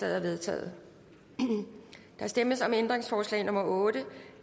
er vedtaget der stemmes om ændringsforslag nummer otte